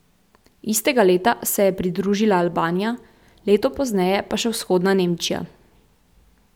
Istega leta se je pridružila Albanija, leto pozneje pa še Vzhodna Nemčija.